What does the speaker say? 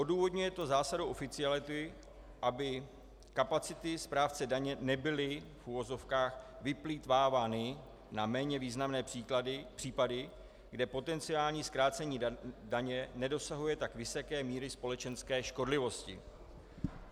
Odůvodňuje to zásadou oficiality, aby kapacity správce daně nebyly v uvozovkách vyplýtvávány na méně významné případy, kde potenciální zkrácení daně nedosahuje tak vysoké míry společenské škodlivosti.